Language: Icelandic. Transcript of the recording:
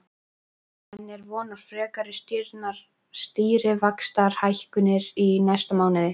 En er von á frekari stýrivaxtahækkunum í næsta mánuði?